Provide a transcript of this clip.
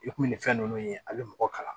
I kun bɛ nin fɛn nunnu ye a bi mɔgɔ kalan